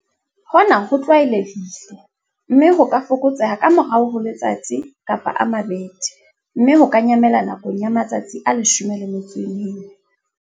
Hona ho tlwaelehile, mme ho ka fokotseha ka morao ho letsatsi, kapa a mabedi, mme ho ka nyamela nakong ya matsatsi a 14.